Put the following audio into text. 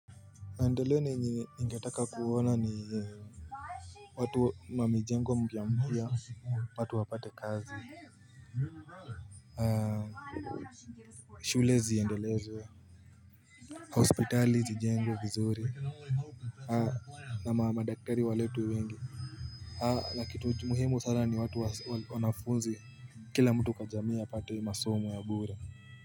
Deleni ningetaka kuona ni watu mamijengo mpya mpya watu wapate kazi shule ziendelezwe hospitali zijengwe vizuri na ma madaktari waletwe wengi na kitu muhimu sana ni watu wanafunzi kila mtu kwa jamii apate masomo ya bure.